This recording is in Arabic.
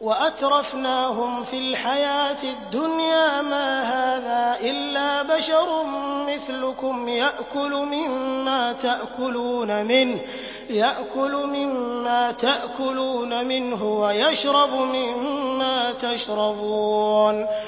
وَأَتْرَفْنَاهُمْ فِي الْحَيَاةِ الدُّنْيَا مَا هَٰذَا إِلَّا بَشَرٌ مِّثْلُكُمْ يَأْكُلُ مِمَّا تَأْكُلُونَ مِنْهُ وَيَشْرَبُ مِمَّا تَشْرَبُونَ